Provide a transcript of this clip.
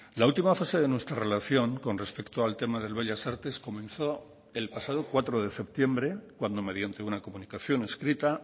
la última fase de nuestra relación con respecto al tema del bellas artes comenzó el pasado cuatro de septiembre cuando mediante una comunicación escrita